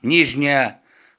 нижняя